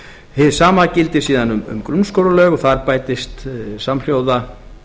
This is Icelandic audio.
hið sama gildir síðan um grunnskólalög þar bætist samhljóða